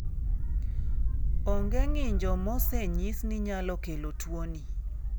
Onge ng'injo mosenyis ni nyalo kelo tuwoni.